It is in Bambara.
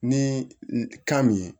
Ni kan min ye